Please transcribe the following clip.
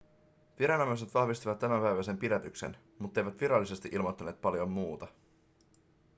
viranomaiset vahvistivat tämänpäiväisen pidätyksen mutteivät virallisesti ilmoittaneet paljon muuta